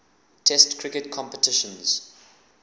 test cricket competitions